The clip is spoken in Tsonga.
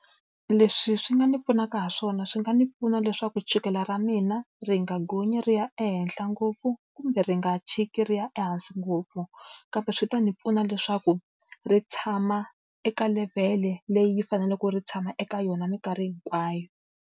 Leswi swi nga ni pfunaka hi swona swi nga ndzi pfuna leswaku chukela ra mina ri nga gonyi ri ya ehenhla ngopfu kumbe ri nga tshiki ri ya ehansi ngopfu, kambe swi ta ndzi pfuna leswaku ri tshama eka levhele leyi faneleke ri tshama eka yona minkarhi hinkwayo.